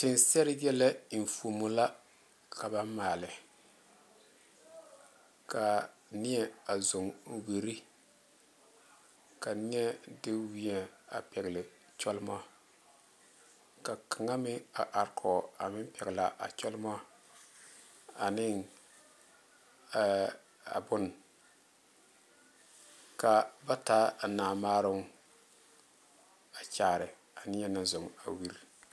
Teŋa seere yɛllɛ enfuumo la ka ba maale kaa nie a zɔ wiire ka nie de wiɛ pegle kyɔlmo ka kaŋa meŋ a are kɔge a meŋ peglaa kyɔlmo a ne ɛɛ a boŋ ka ba taa a naa maaroŋ a kyaare a nie naŋ zɔ a wiire.